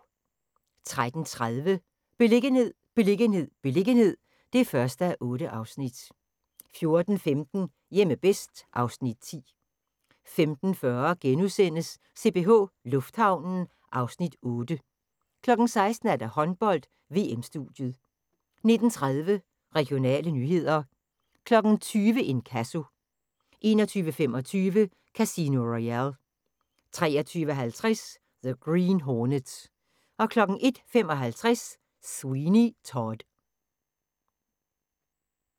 13:30: Beliggenhed, beliggenhed, beliggenhed (1:8) 14:15: Hjemme bedst (Afs. 10) 15:40: CPH Lufthavnen (Afs. 8)* 16:00: Håndbold: VM-studiet 19:30: Regionale nyheder 20:00: Inkasso 21:25: Casino Royale 23:50: The Green Hornet 01:55: Sweeney Todd